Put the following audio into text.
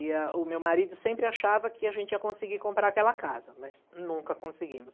E a o meu marido sempre achava que a gente ia conseguir comprar aquela casa, mas nunca conseguimos.